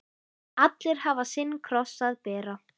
Allir hafa sinn kross að bera.